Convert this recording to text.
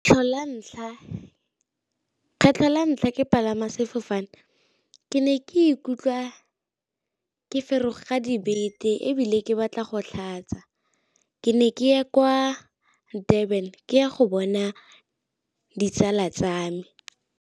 Kgetlho la ntlha ke palama sefofane ke ne ke ikutlwa ke faroga dibeke ebile ke batla go tlhatsa, ke ne ke ye kwa durban ke ya go bona ditsala tsa me.